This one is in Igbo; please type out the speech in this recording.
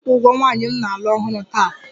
Di m na-aga ịkwụ ụgwọ nwanyị m na-alụ ọhụrụ taa